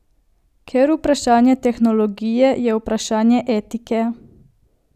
Ker vprašanje tehnologije je vprašanje etike.